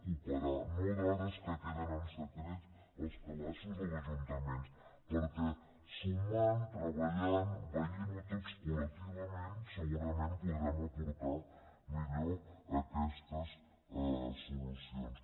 cooperar no dades que queden en secret als calaixos dels ajuntaments perquè sumant treballant veient ho tots col·lectivament segurament podrem aportar millor aquestes solucions